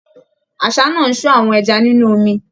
Àṣá náà ń sọ́ àwọn ẹja nínú omi